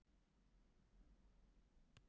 Að henni, meinarðu?